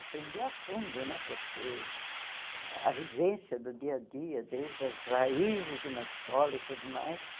Aprendi a fundo né, porque a vivência do dia a dia, desde as raízes de uma escola e tudo mais,